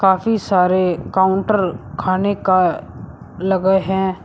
काफी सारे काउंटर खाने का लगे हैं।